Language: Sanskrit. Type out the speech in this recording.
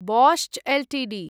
Bosch Ltd